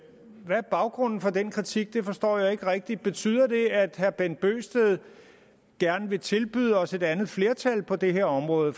hvad er baggrunden for den kritik det forstår jeg ikke rigtig betyder det at herre bent bøgsted gerne vil tilbyde os et andet flertal på det her område